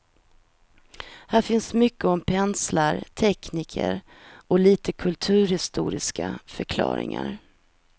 Här finns mycket om penslar, tekniker och lite kulturhistoriska förklaringar.